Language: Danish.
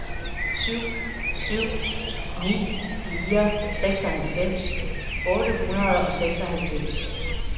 syv syv ni fire seksoghalvfems otte hundrede og seksoghalvfems